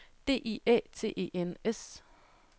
D I Æ T E N S